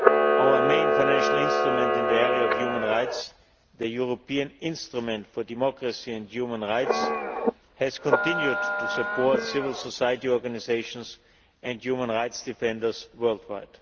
Our main financial instrument in the area of human rights the European Instrument for Democracy and Human Rights has continued to support civil society organisations and human rights defenders worldwide.